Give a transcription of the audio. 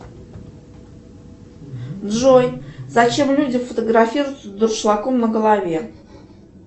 джой зачем люди фотографируются с дуршлагом на голове